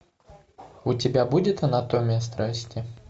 у тебя будет анатомия страсти